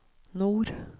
nord